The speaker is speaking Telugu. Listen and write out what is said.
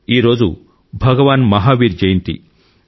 ఈ రోజు భగవాన్ మహావీర్ జయంతి